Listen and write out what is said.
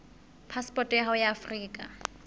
phasepoto ya hao ya afrika